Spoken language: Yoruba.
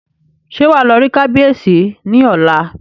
Ṣé wàá lọ rí kábíyèsí ní ọ̀la?